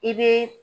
I be